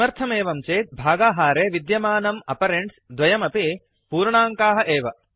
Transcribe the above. किमर्थमेवं चेत् भागाहारे विद्यमानम् आपरेण्ड्स् द्वयमपि पूर्णाङ्काः एव